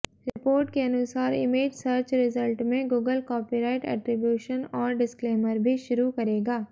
report के अनुसार image search result में गूगल कॉपीराइट एट्रिब्यूशन और डिस्क्लेमर भी शुरू करेगा